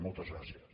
moltes gràcies